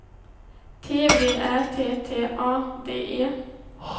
T V Ä T T A D E